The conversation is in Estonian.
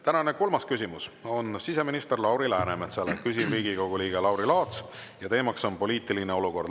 Tänane kolmas küsimus on siseminister Lauri Läänemetsale, küsib Riigikogu liige Lauri Laats ja teema on poliitiline olukord.